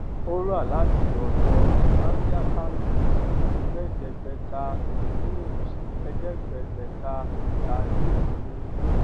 ó rà láti ọdọ ambiaca mills ẹẹdẹgbẹta mills ẹẹdẹgbẹta saris ní